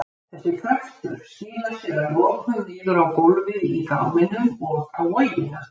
Þessi kraftur skilar sér að lokum niður á gólfið í gáminum og á vogina.